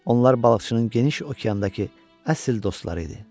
Onlar balıqçının geniş okeandakı əsl dostları idi.